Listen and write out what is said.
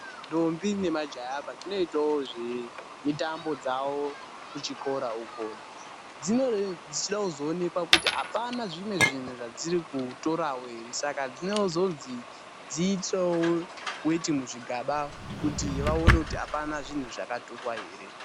Ndombi nemajaya padzinoitawo zvemitambo dzavo kuzvikora uko dzinenge dzichida kuzoonekwa kuti hapana zvimwe zvinhu zvadziri kutorawo here saka dzinozodzi dziitirewo weti muzvigaba kuti vaone kuti hapana zvinhu zvakatorwa here.